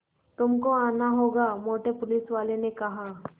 तुमको आना होगा मोटे पुलिसवाले ने कहा